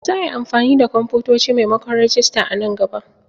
Za a yi amfani da kwamfutoci maimakon rajista a nan gaba.